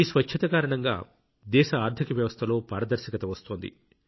ఈ స్వచ్ఛత కారణంగా దేశ ఆర్థిక వ్యవస్థలో పారదర్శకత వస్తోంది